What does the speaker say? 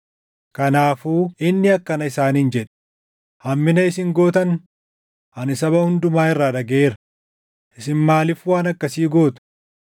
Kanaafuu inni akkana isaaniin jedhe; “Hammina isin gootan ani saba hundumaa irraa dhagaʼeera; isin maaliif waan akkasii gootu?